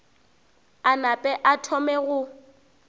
a nape a thome go